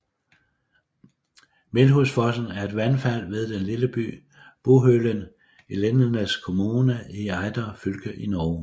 Melhusfossen er et vandfald ved den lille by Buhølen i Lindesnes kommune i Agder fylke i Norge